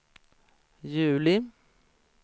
juli